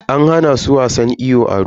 An hana su wasan iyo a ruwa.